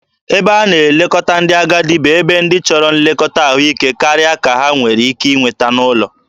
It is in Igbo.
Ebe a na-elekọta ndị agadi bụ ebe ndị chọrọ nlekọta ahụike karịa ka ha nwere ike inweta n'ụlọ.